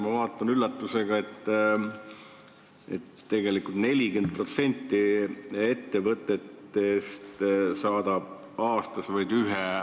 Ma vaatan üllatusega, et 40% ettevõtetest saadab aastas vaid ühe arve.